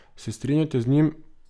Se strinjate z njim?